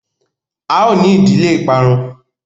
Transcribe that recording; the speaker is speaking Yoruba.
a o ni ìdílé iparun!